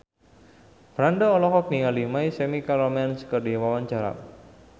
Franda olohok ningali My Chemical Romance keur diwawancara